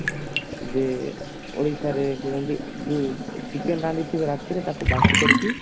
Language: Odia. ଯେ ଓଡିଶାରେ ଯେଉଁଠି ଯୋଉ chicken ରାନ୍ଧି ଥିବ ରାତିରେ ତାକୁ ବାସି କରିକି